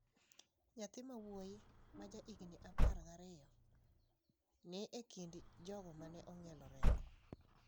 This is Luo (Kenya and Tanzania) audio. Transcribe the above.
Nyathi ma wuoyi ma ja higni apar gi ariyo ni e kind jogo ma ne ong'ielo rengo.